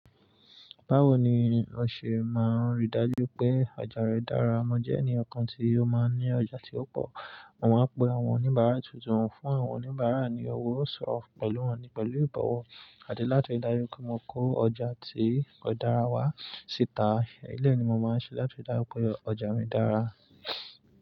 Báwo ni o ṣe máa rí i dájú pé ọjà rẹ dára? Mo jẹ́ ẹniyan kan tí ó máa ń ní ọjà tí ó pọ̀, mo máa ń pe àwọn oníbàárà tuntun wá fún àwọn oníbàárà ni ọwọ́, sọ̀rọ̀ pẹ̀lú wọn ní pẹ̀lú ìbọ̀wọ̀. Àdẹ niláti rí i dájú pé mo kó ọjà tí kò dára wá síta. Éleyi ni mo máa ń ṣe láti rí i dájú pé ọjà mi dára.